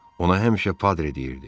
Ona həmişə Padre deyirdi.